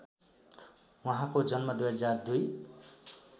उहाँको जन्म २००२